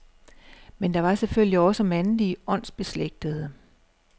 Men der var selvfølgelig også mandlige åndsbeslægtede.